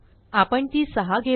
आपण ती 6 घेऊ